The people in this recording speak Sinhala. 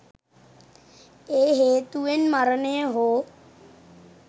ඒ හේතුවෙන් මරණය හෝ